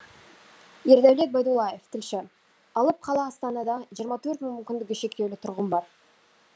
ердәулет байдуллаев тілші алып қала астанада жиырма төрт мың мүмкіндігі шектеулі тұрғын бар